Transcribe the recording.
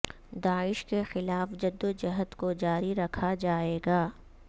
داعش کے خلاف جدوجہد کو جاری رکھا جائے گا